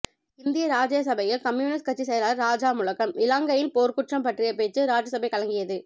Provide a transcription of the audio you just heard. இந்திய ராஜ்ய சபையில் கம்யூனிஸ் கட்சி செயலாளர் ராஜா முழக்கம் இலான்கையின் போர்குற்றம் பட்டிய பேச்சு ராஜ்யசபை கலங்கியது